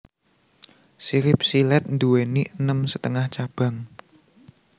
Sirip silèt nduwèni enem setengah cabang